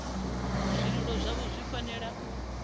zwililo zwavho zwi fanela u